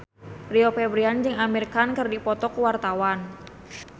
Rio Febrian jeung Amir Khan keur dipoto ku wartawan